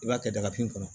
I b'a kɛ dagafin kɔnɔ